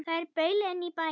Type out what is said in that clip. Þær baula inn í bæinn.